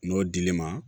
N'o dil'i ma